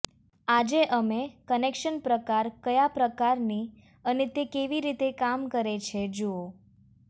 આજે અમે કનેક્શન પ્રકાર કયા પ્રકારની અને તે કેવી રીતે કામ કરે છે જુઓ